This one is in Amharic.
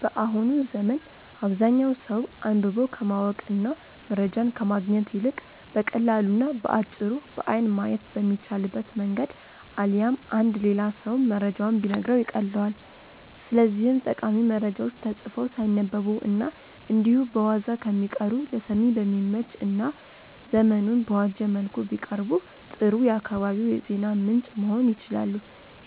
በአሁኑ ዘመን አብዛኛው ሰው አንብቦ ከማወቅ እና መረጃን ከማግኘት ይልቅ በቀላሉ እና በአጭሩ በአይን ማየት በሚቻልበት መንገድ አሊያም አንድ ሌላ ሰው መረጃውን ቢነግረው ይቀልለዋል። ስለዚህም ጠቃሚ መረጃዎች ተጽፈው ሳይነበቡ እና እንዲሁ በዋዛ ከሚቀሩ ለሰሚ በሚመች እና ዘመኑን በዋጀ መልኩ ቢቀርቡ ጥሩ የአካባቢው የዜና ምንጭ መሆን ይችላሉ።